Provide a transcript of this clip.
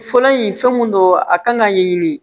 Fɔlɔ in fɛn mun don a kan ka ɲɛɲini